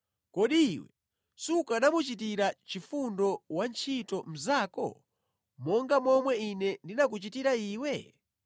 Kodi iwe sukanamuchitira chifundo wantchito mnzako monga momwe ine ndinakuchitira iwe?’